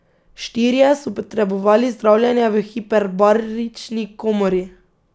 Štirje so potrebovali zdravljenje v hiperbarični komori.